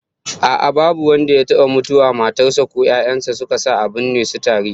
A'a, babu wanda ya taba mutuwa matar sa ko 'ya'yan sa suka sa a binne su tare